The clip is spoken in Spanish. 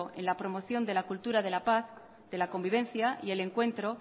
en la promoción de la cultura de la paz de la convivencia y el encuentro